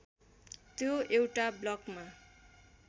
त्यो एउटा ब्लकमा